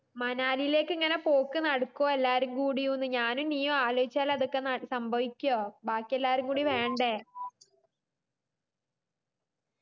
മണാലിലേക്ക് ഇങ്ങനെ പോക്ക് നടക്കുവോ എല്ലാരും കൂടിയുന്ന് ഞാനും നീയും കൂടി ആലോയിച്ചാ ഇതൊക്കെ നട സംഭവിക്കുവോ ബാക്കി എല്ലാരും കൂടി വേണ്ടേ